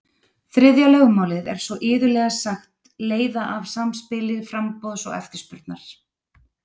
Þriðja lögmálið er svo iðulega sagt leiða af samspili framboðs og eftirspurnar.